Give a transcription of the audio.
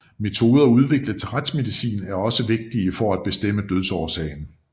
Metoder udviklet til retsmedicin er også vigtige til at bestemme dødsårsagen